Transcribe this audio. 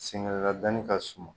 Senŋɛla dani ka suma